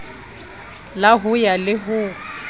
la ho ya le ho